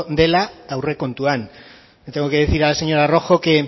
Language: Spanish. dela aurrekontuan tengo que decir a la señora rojo que